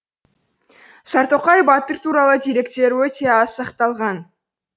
сартоқай батыр туралы деректер өте аз сақталған